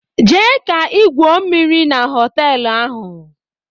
Jee ka igwuo mmiri na họtelu ahụ!